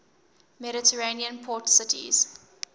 mediterranean port cities